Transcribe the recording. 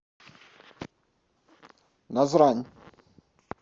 назрань